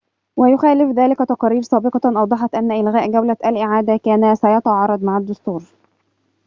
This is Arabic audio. ويخالف ذلك تقارير سابقة أوضحت أن إلغاء جولة الإعادة كان سيتعارض مع الدستور